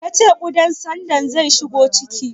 Ka ce ƙudan tsandon zai shigo ciki?